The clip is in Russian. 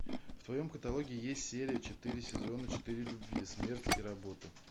в твоем каталоге есть серия четыре сезона четыре любви смерть и работа